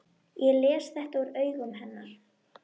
Ég les þetta úr augum hennar.